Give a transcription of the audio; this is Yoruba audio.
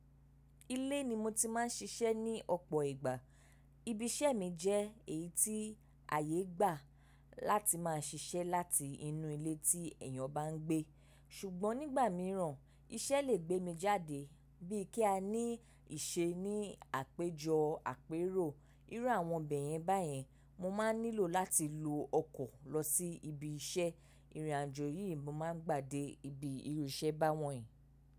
Ilé ni mo ti má ń siṣẹ́ ní ọ̀pọ̀ ìgbà. Ibi iṣẹ́ mi jẹ́ èyí tí àyé gbà láti má a ṣiṣẹ́ láti inú ilé tí èyàn bá ń gbé. Ṣùgbọ́n nígbà míràn, iṣẹ́ lè gbé mi jáde bí i kí a ní ìṣe ní àpéjọ àpérò irú àwọn bẹ̀yẹn báyẹn, mo má ń nílò láti lo ọkọ̀ lọ sí ibi iṣẹ́. Ìrìnàjò yìí mo má ń gbà dé ibi irú iṣẹ́ bá wọ̀nyí.